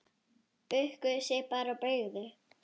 Bukkuðu sig bara og beygðu!